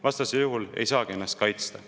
Vastasel juhul ei saagi ennast kaitsta.